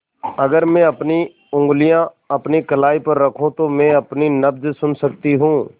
अगर मैं अपनी उंगलियाँ अपनी कलाई पर रखूँ तो मैं अपनी नब्ज़ सुन सकती हूँ